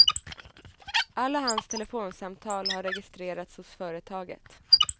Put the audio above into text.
Alla hans telefonsamtal har registrerats hos företaget.